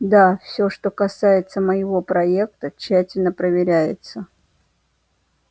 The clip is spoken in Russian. да все что касается моего проекта тщательно проверяется